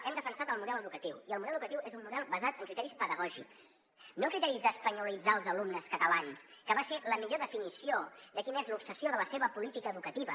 hem defensat el model educatiu i el model educatiu és un model basat en criteris pedagògics no en criteris d’espanyolitzar els alumnes catalans que va ser la millor definició de quina és l’obsessió de la seva política educativa